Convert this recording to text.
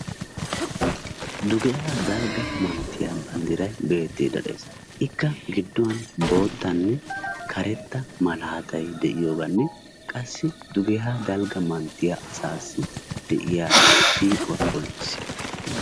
Dugeera dalgga manttiya banddiray beetiidi de'ees. Ikka gidduwan bootanne karetta malaatay de'iyogaanne qassi dugeera dalga manttiya asaassi de'iya siiquwa qonccissiyaga.